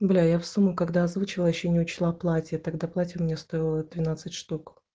бля я в сумму когда озвучила ещё не учла платье тогда платье мне стоило двенадцать штук